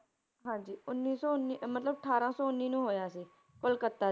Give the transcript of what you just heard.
ਹਾਂਜੀ ਉੱਨੀ ਸੌ ਉੱਨੀ ਮਤਲਬ ਅਠਾਰਾਂ ਸੌ ਉੱਨੀ ਨੂੰ ਹੋਇਆ ਸੀ, ਕਲਕੱਤਾ